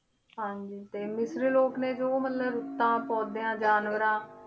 ਹਾਂਜੀ ਤੇ ਮਿਸਰ ਲੋਕ ਨੇ ਜੋ ਮਤਲਬ ਤਾਂ ਪੌਦਿਆਂ ਜਾਨਵਰਾਂ